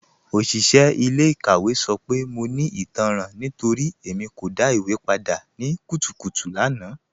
Oṣiṣẹ ilẹ̀-ikàwẹ̀ sọ pé mọ̀ ní ìtànran nítorí Ẹ̀mí kò dá ìwé pàdà ní kùtùkùtù àná